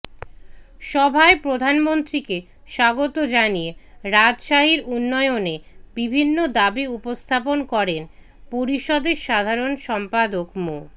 সভায় প্রধানমন্ত্রীকে স্বাগত জানিয়ে রাজশাহীর উন্নয়নে বিভিন্ন দাবি উপস্থাপন করেন পরিষদের সাধারণ সম্পাদক মো